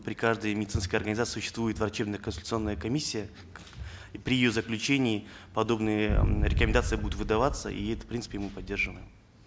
при каждой медицинской организации существует врачебно консультационная комиссия и при ее заключении подобные рекомендации будут выдаваться и это в принципе мы поддерживаем